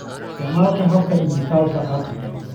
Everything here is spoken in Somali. Isticmaal hababka dhijitaalka ah.